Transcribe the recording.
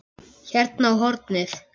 Hérna á hornið.